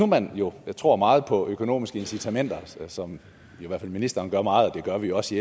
man nu tror meget på økonomiske incitamenter som i hvert fald ministeren gør meget og det gør vi også